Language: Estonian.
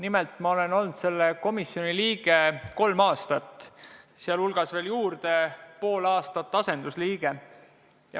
Mina olen olnud selle komisjoni liige kolm aastat ja veel juurde pool aastat asendusliige.